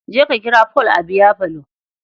Je ka kira Paul a biyafalo.